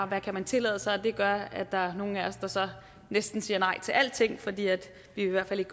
man kan tillade sig det gør at der er nogle af os der så næsten siger nej til alting fordi vi i hvert fald ikke